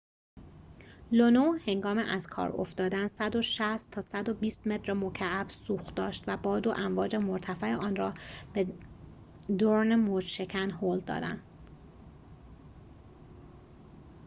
لونو هنگام از کار افتادن ۱۲۰-۱۶۰ متر مکعب سوخت داشت و باد و امواج مرتفع آن‌را به دورن موج‌شکن هل دادند